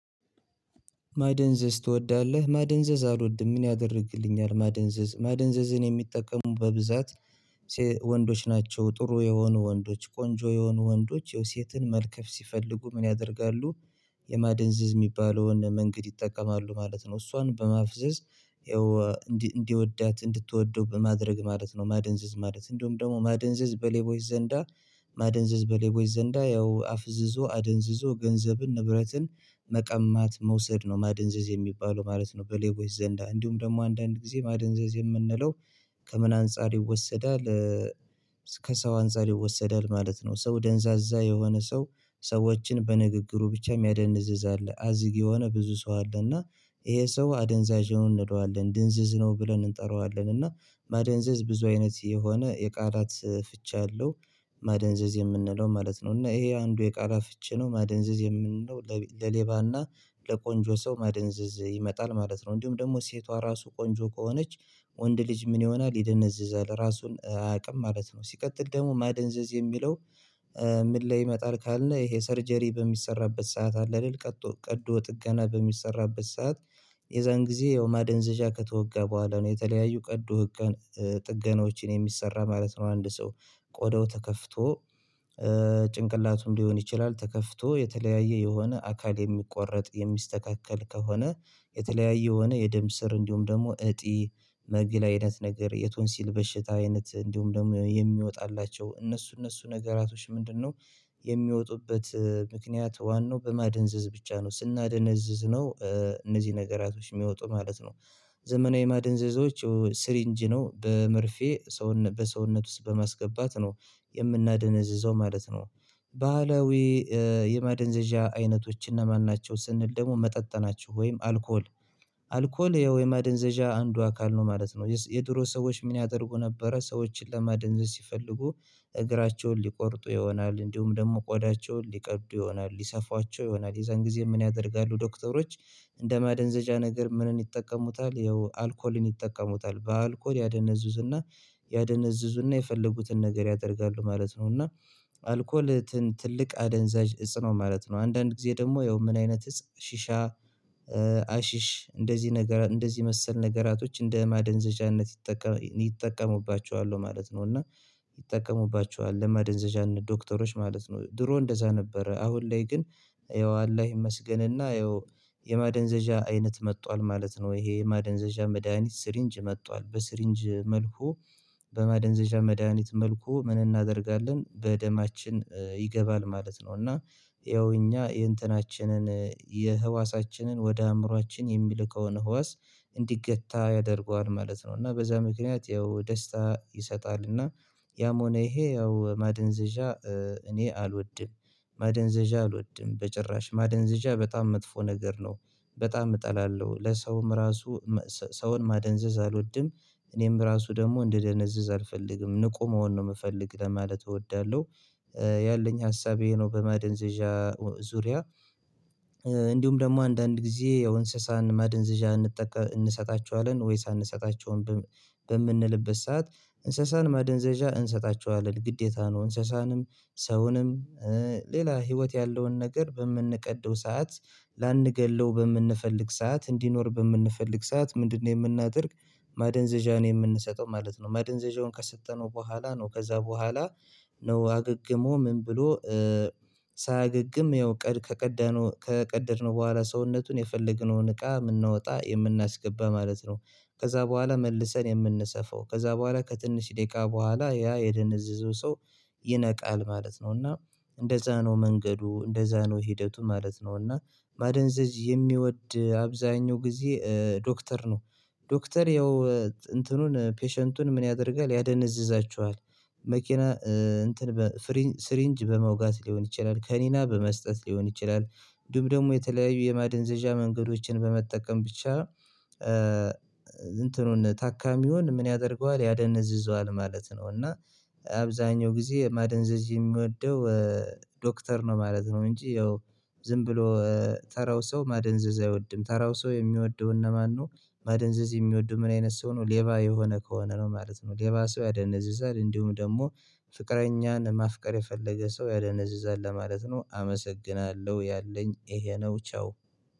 ማደንዘዝ ትወዳለህ ማደንዘዝ አልወድም ምን ያደርግልኛል ማደንዘዝ ማደንዘዝን የሚጠቀሙ በብዛት ወንዶች ናቸው። ጥሩ የሆኑ ወንዶች ቆንጆ የሆኑ ወንዶች የሴትን መልከፍ ሲፈልጉ ምን ያደርጋሉ? የማደንዝዝ የሚባለውን መንገድ ይጠቀማሉ ማለት ነው። እሷን በማፍዘዝ ያው እንዲወዳት እንድትወደው በማድረግ ማለት ነው። ማደንዘዝ ማለት እንደውም ደግሞ ማደንዘዝ በሌቦች ዘንዳ። ማደንዘዝ በሌቦች ዘንዳ ያው አፍዝዞ አደንዝዞ ገንዘብን ንብረትን መቀማት መውሰድ ነው ማደንዘዝ የሚባለው ማለት ነው። በሌቦች ዘንዳ እንዲሁም ደግሞ አንዳንድ ጊዜ ማደንዘዝ የምንለው ከምን አንፃር ይወሰዳል? ከሰው አንፃር ይወሰዳል ማለት ነው። ሰው ደንዛዛ የሆነ ሰው ሰዎችን በንግግሩ ብቻ የሚያደንዝዝ አለ አዝግ የሆነ ብዙ ሰው አለ። እና ይሄ ሰው አደንዛዥ ነው እንለዋለን ድንዝዝ ነው ብለን እንጠራዋለን። እና ማደንዘዝ ብዙ አይነት የሆነ የቃላት ፍች አለው። ማደንዘዝ የምንለው ማለት ነው እና ይሄ አንዱ የቃላት ፍቺ ነው። ማደንዘዝ የምንለው ለሌባና ለቆንጆ ሰው ማደንዘዝ ይመጣል ማለት ነው። እንዲሁም ደግሞ ሴቷ ራሱ ቆንጆ ከሆነች ወንድ ልጅ ምን ይሆናል ይደነዝዛል ራሱን አያውቅም ማለት ነው። ሲቀጥል ደግሞ ማደንዘዝ የሚለው ምን ላይ ይመጣል? ካልን ይሄ ሰርጀሪ በሚሰራበት ሰዓት አለ አይደል? ቀዶ ጥገና በሚሰራበት ሰዓት የዛን ጊዜ ያው ማደንዘዣ ከተወጋ በኋላ ነው የተለያዩ ቀዶ ጥገናዎችን የሚሰራ ማለት ነው። አንድ ሰው ቆዳው ተከፍቶ ጭንቅላቱም ሊሆን ይችላል። ተከፍቶ የተለያየ የሆነ አካል የሚቆረጥ የሚስተካከል ከሆነ የተለያየ የሆነ የደም ስር እንዲሁም ደግሞ እጢ መግል አይነት ነገር የቶንሲል በሽታ አይነት እንዲሁም ደግሞ የሚወጣላቸው እነሱ እነሱ ነገራቶች ምንድነው የሚወጡበት ምክንያት ዋናው በማደንዘዝ ብቻ ነው ስናደነዝዝ ነው። እነዚህ ነገራቶች የሚወጡ ማለት ነው። ዘመናዊ ማደንዘዞች ስሪንጅ ነው በመርፌ በሰውነት ውስጥ በማስገባት ነው የምናደነዝዘው ማለት ነው። ባህላዊ የማደንዘዣ አይነቶች እነማን ናቸው? ስንል ደግሞ መጠጥ ናቸው ወይም አልኮል አልኮል ያው ማደንዘዣ አንዱ አካል ነው ማለት ነው። የድሮ ሰዎች ምን ያደርጉ ነበረ ሰዎችን ለማደንዘዝ ሲፈልጉ። እግራቸውን ሊቆርጡ ይሆናል እንዲሁም ደግሞ ቆዳቸውን ሊቀዱ ይሆናል ይሰፍዋቸው ይሆናል የዛን ጊዜ ምን ያደርጋሉ ዶክተሮች? እንደ ማደንዘዣ ነገር ምንን ይጠቀሙታል ያው አልኮልን ይጠቀሙታል በአልኮል ያደነዝዙና ያደነዝዙና የፈለጉትን ነገር ያደርጋሉ ማለት ነው። እና አልኮል ትልቅ አደንዛዥ እፅ ነው ማለት ነው። አንዳንድ ጊዜ ደግሞ ያው ምን አይነት እፅ ሽሻ አሽሽ እንደዚህ ነገር እንደዚህ መሰል ነገራቶች እንደ ማደንዘዣነት ይጠቀማሉ ይጠቀሙባቸዋለው ማለት ነው። እና ይጠቀሙባቸዋል ለመደንዘዣነት ዶክተሮች ማለት ነው። ድሮ እንደዛ ነበረ አሁን ላይ ግን። ይኸው አላህ ይመስገንና ያው የማደንዘዣ አይነት መጥቷል ማለት ነው። ይሄ የማደንዘዣ መድሃኒት ስሪንጅ መጥቷል በስሪንጅ መልኩ። በማደንዘዣ መድሃኒት መልኩ ምን እናደርጋለን በደማችን ይገባል ማለት ነው። እና ያው እኛ የእንትናችንን የህዋሳችንን ወደ አእምሮአችን የሚልከውን ህዋስ እንዲገታ ያደርገዋል ማለት ነው። እና በዛ ምክንያት ያው ደስታ ይሰጣል እና ያም ሆነ ይሄ ያው ማደንዘዣ። እኔ አልወድም። ማደንዘዣ አልወድም በጭራሽ ማደንዘዣ በጣም መጥፎ ነገር ነው። በጣም እጠላለው ለሰውም ራሱ ሰውን ማደንዘዝ አልወድም እኔም ራሱ ደግሞ እንደደነዘዝ አልፈልግም ንቁ መሆን ነው የምፈልግ ለማለት እወዳለሁ። ያለኝ ሀሳብ ይሄ ነው። በመደንዘዣ ዙሪያ። እንዲሁም ደግሞ አንዳንድ ጊዜ ያው እንስሳን ማደንዘዣ እንሰጣቸዋለን ወይስ አንሰጣቸውም? በምንልበት ሰዓት እንስሳን መደንዘዣ እንሰጣቸዋለን ግዴታ ነው። እንስሳንም ሰውንም ሌላ ህይወት ያለውን ነገር በምንቀደው ሰዓት። ላንገድለው በምንፈልግ ሰዓት እንዲኖር በምንፈልግ ሰዓት ምንድነው የምናደርግ? ማደንዘዣ ነው የምንሰጠው ማለት ነው። ማደንዘዣውን ከሰጠነው በኋላ ነው ከዛ በኋላ። ነው አገግሞ ምን ብሎ ሳያገግም ያው ቀድ ከቀደድነው በኋላ ሰውነቱን የፈለግነውን እቃ የምናወጣ የምናስገባ ማለት ነው። ከዛ በኋላ መልሰን የምንሰፋው ከዛ በኋላ ከትንሽ ደቂቃ በኋላ ያ የደነዘዘው ሰው ይነቃል ማለት ነው። እና እንደዛ ነው መንገዱ እንደዛ ነው ሂደቱ ማለት ነው። እና ማደንዘዝ የሚወድ አብዛኛው ጊዜ ዶክተር ነው። ዶክተር ያው እንትኑን ፔሸንቱን ምን ያደርጋል ያደነዝዛችኋል? መኪና እንትን በስሪንጅ በመውጋት ሊሆን ይችላል ከኒና በመስጠት ሊሆን ይችላል። እንዲሁም ደግሞ የተለያዩ የማደንዘዣ መንገዶችን በመጠቀም ብቻ። እንትኑን ታካሚውን ምን ያደርገዋል ያደነዝዘዋል ማለት ነው። እና አብዛኛው ጊዜ ማደንዘዝ የሚወደው ዶክተር ነው ማለት ነው። እንጂ ያው ዝም ብሎ ተራው ሰው ማደንዘዝ አይወድም። ተራው ሰው የሚወደው እነማን ነው? ማደንዘዝ የሚወደው ምን አይነት ሰው ነው? ሌባ የሆነ ከሆነ ነው ማለት ነው። ሌባ ሰው ያደነዝዛል እንዲሁም ደግሞ ፍቅረኛን ማፍቀር የፈለገ ሰው ያደነዝዛል ለማለት ነው። አመሰግናለሁ ያለኝ ይሄ ነው። ቻው